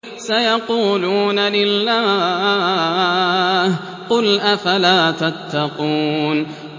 سَيَقُولُونَ لِلَّهِ ۚ قُلْ أَفَلَا تَتَّقُونَ